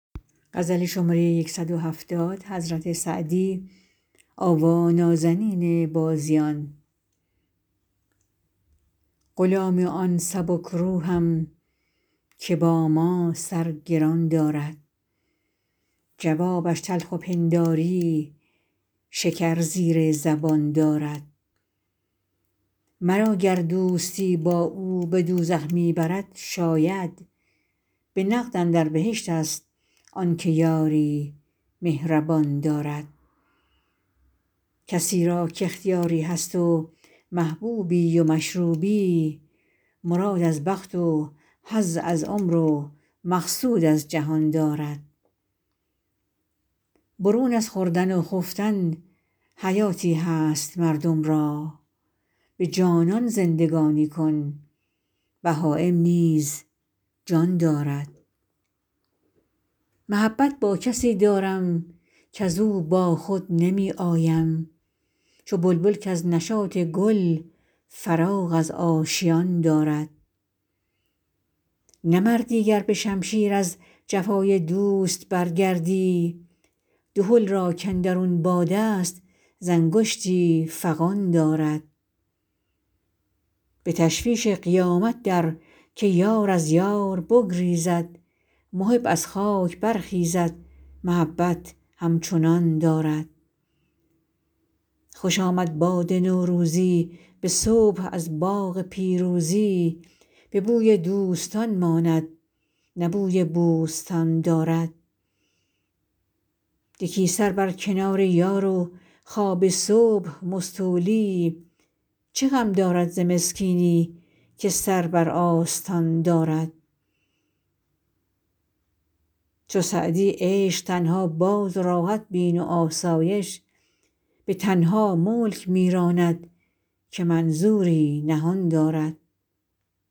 غلام آن سبک روحم که با من سر گران دارد جوابش تلخ و پنداری شکر زیر زبان دارد مرا گر دوستی با او به دوزخ می برد شاید به نقد اندر بهشت ست آن که یاری مهربان دارد کسی را کاختیاری هست و محبوبی و مشروبی مراد از بخت و حظ از عمر و مقصود از جهان دارد برون از خوردن و خفتن حیاتی هست مردم را به جانان زندگانی کن بهایم نیز جان دارد محبت با کسی دارم کز او با خود نمی آیم چو بلبل کز نشاط گل فراغ از آشیان دارد نه مردی گر به شمشیر از جفای دوست برگردی دهل را کاندرون باد است ز انگشتی فغان دارد به تشویش قیامت در که یار از یار بگریزد محب از خاک برخیزد محبت همچنان دارد خوش آمد باد نوروزی به صبح از باغ پیروزی به بوی دوستان ماند نه بوی بوستان دارد یکی سر بر کنار یار و خواب صبح مستولی چه غم دارد ز مسکینی که سر بر آستان دارد چو سعدی عشق تنها باز و راحت بین و آسایش به تنها ملک می راند که منظوری نهان دارد